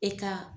E ka